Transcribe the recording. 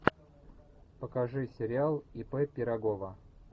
покажи сериал ип пирогова